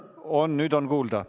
On, nüüd on kuulda.